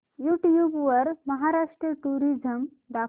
YouTube वर Maharashtra tourism दाखव